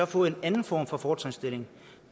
få en anden form for fortrinsstilling